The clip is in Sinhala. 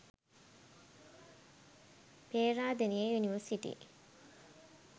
peradeniya university